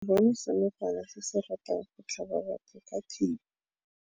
Re bone senokwane se se ratang go tlhaba batho ka thipa.